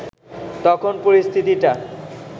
তখন পরিস্থিতিটা